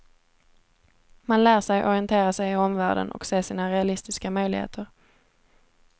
Man lär sig orientera sig i omvärlden och se sina realistiska möjligheter.